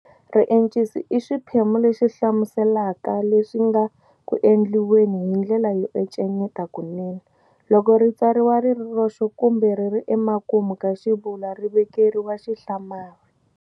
Riencisi i xiphemu lexi hlamuselaka leswi nga ku endliweni hi ndlela yo encenyeta kunene. Loko ri tsariwile ri ri roxe kumbe riri emakumu ka xivulwa ri vekeriwa xihlamari"!".